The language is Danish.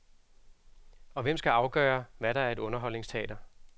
Og hvem skal afgøre, hvad der er et underholdningsteater?